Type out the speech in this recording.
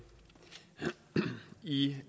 i